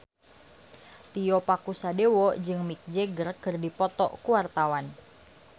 Tio Pakusadewo jeung Mick Jagger keur dipoto ku wartawan